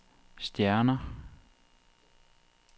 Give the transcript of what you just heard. stjerner